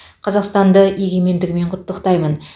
қазақстанды егемендігімен құттықтаймын